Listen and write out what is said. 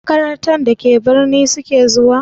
Makarantar da ke birni su ke zuwa?